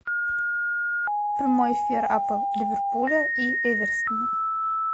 прямой эфир апл ливерпуля и эвертона